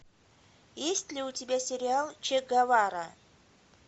есть ли у тебя сериал че гевара